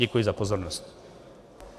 Děkuji za pozornost.